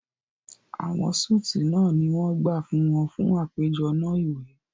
Awọn suites náà ni wọ́n gbà fún wọn fún àpéjọ náà iwe